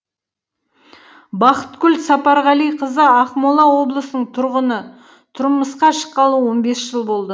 бақытгүл сапарғалиқызы ақмола облысының тұрғыны тұрмысқа шыққалы он бес жыл болды